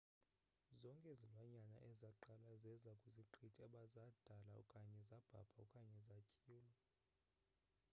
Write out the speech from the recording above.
zonke izilwanyana ezaqala zeza kwiziqithi zadada okanye zabhabha okanye zantywila